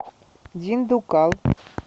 диндуккал